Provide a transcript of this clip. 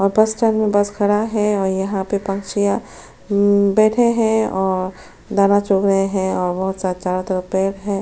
और bus stand में bus खड़ा है और यहाँ में पंछियाँ अम बैठे है और दाना चुग रहे है और बहोत सारा चारो तरफ पेड़ है ।